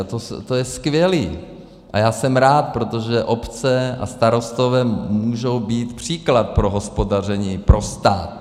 A to je skvělé a já jsem rád, protože obce a starostové můžou být příklad pro hospodaření pro stát.